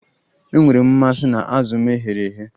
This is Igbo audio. Enwere m mmasị na azụ m e ghere eghe